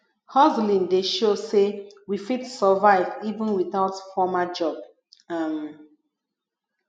hustling dey show sey we fit survive even without formal job um